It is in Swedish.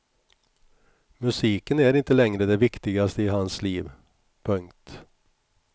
Musiken är inte längre det viktigaste i hans liv. punkt